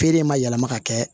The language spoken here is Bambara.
Feere in ma yɛlɛma ka kɛ